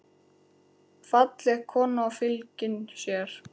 Falleg kona og fylgin sér.